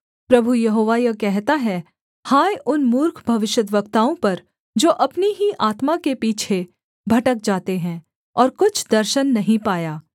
प्रभु यहोवा यह कहता है हाय उन मूर्ख भविष्यद्वक्ताओं पर जो अपनी ही आत्मा के पीछे भटक जाते हैं और कुछ दर्शन नहीं पाया